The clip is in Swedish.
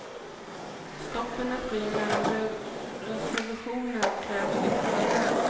Stoppen är fria men reservationer krävs i förväg.